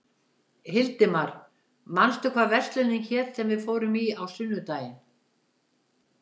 Hildimar, manstu hvað verslunin hét sem við fórum í á sunnudaginn?